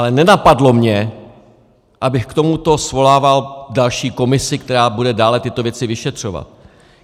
Ale nenapadlo mě, abych k tomuto svolával další komisi, která bude dále tyto věci vyšetřovat.